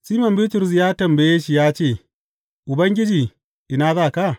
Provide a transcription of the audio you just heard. Siman Bitrus ya tambaye shi ya ce, Ubangiji ina za ka?